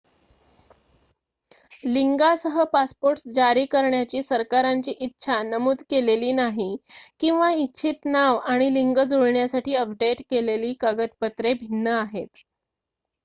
लिंगासह passport जारी करण्याची सरकारांची इच्छा नमूद केलेली नाही x किंवा इच्छित नाव आणि लिंग जुळण्यासाठी अपडेट केलेली कागदपत्रे भिन्न आहेत